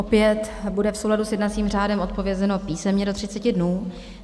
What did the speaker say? Opět bude v souladu s jednacím řádem odpovězeno písemně do 30 dnů.